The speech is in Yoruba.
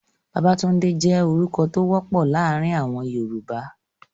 Babatunde je orukọ to wopọ laarin awọn Yoruba